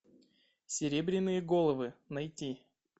серебряные головы найти